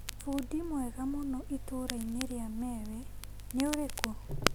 Bundi mwega mũno itũra-inĩ rĩa Mewe nĩ ũrĩkũ?